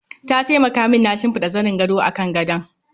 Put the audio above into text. Ta taimaka min na shimfida zanin gado akan gadon.